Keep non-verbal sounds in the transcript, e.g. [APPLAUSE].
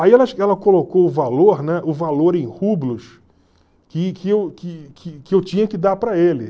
Aí ela [UNINTELLIGIBLE] ela colocou o valor, né, o valor em rublos que que eu que que que eu tinha que dar para ele.